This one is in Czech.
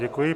Děkuji.